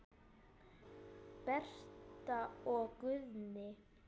Berta og Guðni.